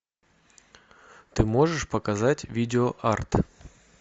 ты можешь показать видеоарт